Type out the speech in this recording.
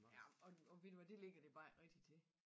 Ja men og og ved du hvad det ligger de bare ikke rigtig til